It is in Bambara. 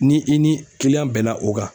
Ni i ni bɛnna o kan